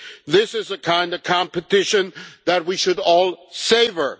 This is the kind of competition that we should all savour.